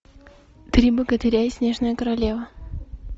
три богатыря и снежная королева